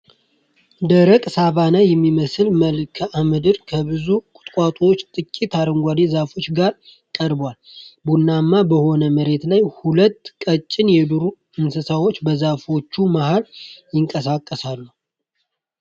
ደረቅና ሳቫና የሚመስል መልክዓ ምድር ከብዙ ቁጥቋጦዎችና ጥቂት አረንጓዴ ዛፎች ጋር ቀርቧል። ቡናማ በሆነው መሬት ላይ ሁለት ቀጭን የዱር እንስሳት በዛፎቹ መሀል ይንቀሳቀሳሉ።